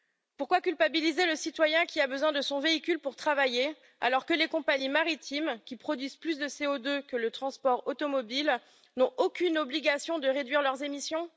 Pourquoi culpabiliser le citoyen qui a besoin de son véhicule pour travailler, alors que les compagnies maritimes, qui produisent plus de CO2 que le transport automobile, n'ont aucune obligation de réduire leurs émissions?